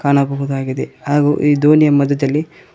ಕಾಣಬಹುದಾಗಿದೆ ಹಾಗು ಈ ದೋಣಿಯ ಮಧ್ಯದಲ್ಲಿ--